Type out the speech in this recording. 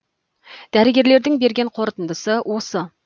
дәрігерлердің берген қорытындысы осы